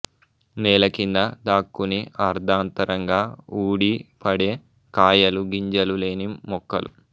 నేలకింద దాక్కుని అర్ధాంతరంగా ఊడి పడే కాయలు గింజలు లేని మొక్కలు